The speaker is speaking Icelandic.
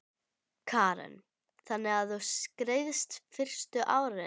Karen: Þannig að þú skreiðst fyrstu árin?